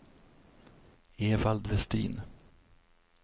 Evald Vestin